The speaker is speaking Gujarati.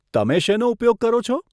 તમે શેનો ઉપયોગ કરો છો?